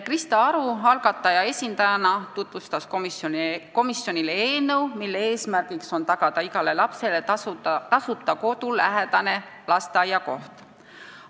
Krista Aru algataja esindajana tutvustas komisjonile eelnõu, mille eesmärk on tagada igale lapsele tasuta kodulähedase lasteaia koht.